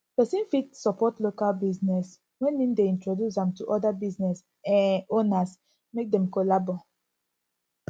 persin fit support local business when im de introduce am to oda business um owners make dem collabo